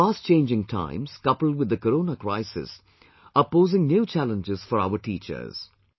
The fast changing times coupled with the Corona crisis are posing new challenges for our teachers